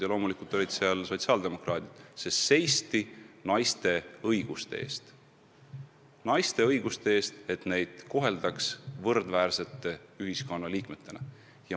Ja loomulikult olid kohal sotsiaaldemokraadid, sest seisti naiste õiguste eest – naiste õiguste eest, et neid koheldaks võrdväärsete ühiskonnaliikmetena.